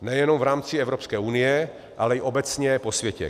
Nejenom v rámci Evropské unie, ale i obecně po světě.